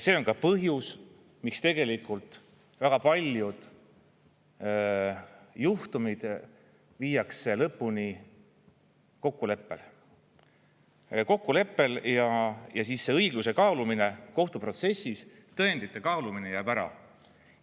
See on ka põhjus, miks tegelikult väga paljud juhtumid viiakse lõpuni kokkuleppel ja siis see õigluse kaalumine kohtuprotsessis, tõendite kaalumine jääb ära.